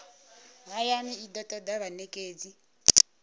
hayani i do toda vhanekedzi